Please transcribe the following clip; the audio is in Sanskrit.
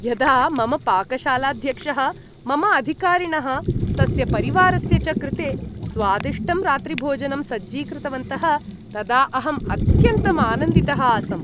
यदा मम पाकशालाध्यक्षः मम अधिकारिणः तस्य परिवारस्य च कृते स्वादिष्टं रात्रिभोजनं सज्जीकृतवन्तः तदा अहम् अत्यन्तम् आनंदितः आसम्।